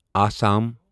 Assam